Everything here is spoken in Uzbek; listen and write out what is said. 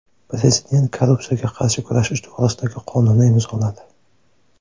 Prezident korrupsiyaga qarshi kurashish to‘g‘risidagi qonunni imzoladi.